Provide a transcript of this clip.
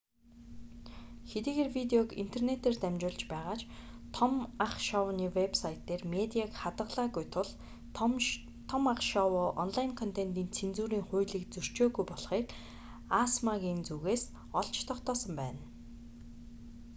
хэдийгээр видеог интернэтээр дамжуулж байгаа ч том ах шоуны вэб сайт дээр медиаг хадгалаагүй тул том ах шоу онлайн контентын цензурын хуулийг зөрчөөгүй болохыг асма-ийн зүгээс олж тогтоосон байна